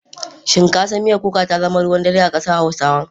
Shin ka san miya kuka ta zama ruwan dare a kasar hausawa?